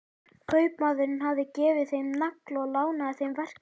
Kaupmaðurinn hafði gefið þeim nagla og lánað þeim verkfæri.